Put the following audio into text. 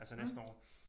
Altså næste år